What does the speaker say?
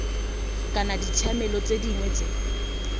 kana ditshiamelo tse dingwe tse